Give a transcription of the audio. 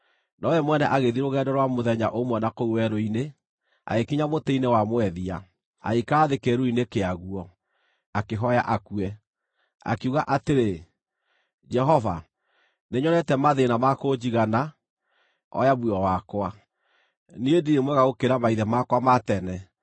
nowe mwene, agĩthiĩ rũgendo rwa mũthenya ũmwe na kũu werũ-inĩ. Agĩkinya mũtĩ-inĩ wa mwethia, agĩikara thĩ kĩĩruru-inĩ kĩaguo, akĩhooya akue. Akiuga atĩrĩ, “Jehova, nĩnyonete mathĩĩna ma kũnjigana. Oya muoyo wakwa; niĩ ndirĩ mwega gũkĩra maithe makwa ma tene.”